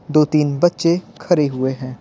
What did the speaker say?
दो-तीन बच्चे खड़े हुए हैं।